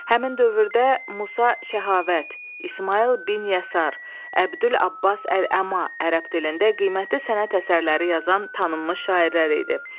Həmin dövrdə Musa, Şəhavət, İsmayıl bin Yəsar, Əbdülabbas Əl-Əma ərəb dilində qiymətli sənət əsərləri yazan tanınmış şairlər idi.